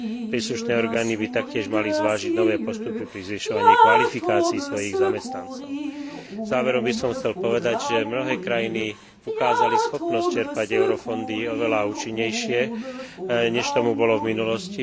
Príslušné orgány by taktiež mali zvážiť nové postupy pri zvyšovaní kvalifikácií svojich zamestnancov. Záverom by som chcel povedať, že mnohé krajiny ukázali schopnosť čerpať eurofondy oveľa účinnejšie, než tomu bolo v minulosti.